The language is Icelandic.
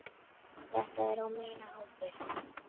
Þetta er á mína ábyrgð.